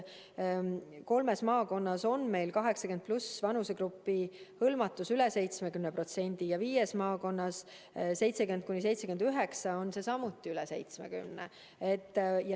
Kolmes maakonnas on 80+ vanusegrupi hõlmatus üle 70% ja viies maakonnas 70–79 vanusegrupi hõlmatus samuti üle 70%.